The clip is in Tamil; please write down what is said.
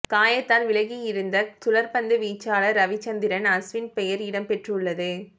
காயத்தால் விலகியிருந்த சுழற்பந்து வீச்சாளர் ரவிச்சந்திரன் அஸ்வின் பெயர் இடம் பெற்றுள்ளது